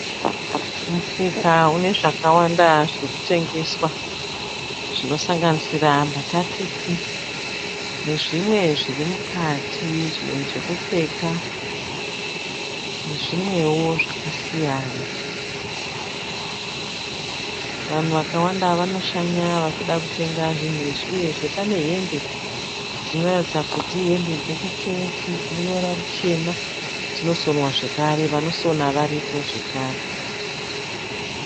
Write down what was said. Musika une zvakawanda zviri kutengeswa zvinosanganisira mbatatisi nezvimwe zviri mukati, zvimwe zvokupfeka nezvimwewo zvakasiyana. Vanhu vakawanda vanoshanya vachida kutenga zvinhu izvi uyezve pane hembe dzinoratidza kuti ihembe dzokuchechi dzinoruvara ruchena. Dzinosonwa zvakare, vanosona varipo zvakare.